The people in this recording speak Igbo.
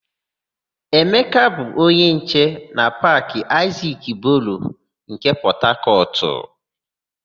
Emeka bụ onye nche na Paakị Aịzik Boro nke Pọtakọtụ.ụ